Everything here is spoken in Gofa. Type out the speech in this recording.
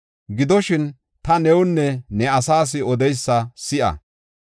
Gidoshin, ta newunne ne asaas odeysa si7a.